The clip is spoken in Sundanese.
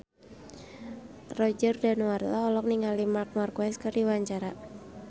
Roger Danuarta olohok ningali Marc Marquez keur diwawancara